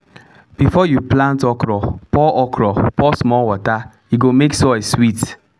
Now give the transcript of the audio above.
before you plant okra pour okra pour small water e go make soil sweet.